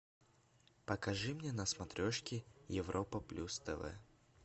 покажи мне на смотрешке европа плюс тв